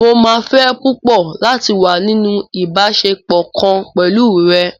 Mó máa fẹ́ púpọ̀ láti wá nínú ìbáṣepọ̀ kan pẹ̀lú rẹ.